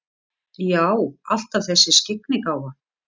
Já, alltaf þessi skyggnigáfa.